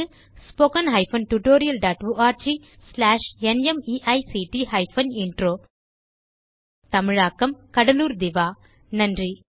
spoken hyphen tutorial dot org slash NMEICT hyphen intro தமிழாக்கம் கடலூர் திவா நன்றி